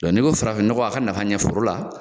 Dɔn n'i ko farafin ɲɔgɔn a ka nafa ɲɛf forola